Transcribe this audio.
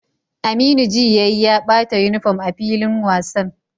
Aminu ji yayi ya bata uniform a filin wasan